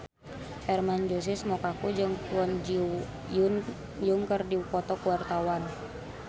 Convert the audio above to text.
Hermann Josis Mokalu jeung Kwon Ji Yong keur dipoto ku wartawan